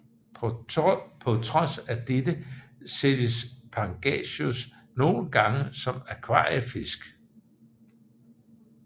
På trods af dette sælges Pangasius nogle gange som akvariefisk